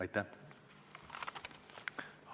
Aitäh!